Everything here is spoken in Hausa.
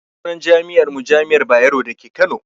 Sunan jami'ar mu jami'ar bayero dake kano